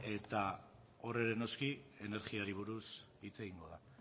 eta hor ere noski energiari buruz hitz egingo da